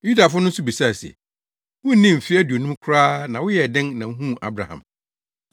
Yudafo no nso bisaa no se, “Wunnii mfe aduonum koraa na woyɛɛ dɛn na wuhuu Abraham?”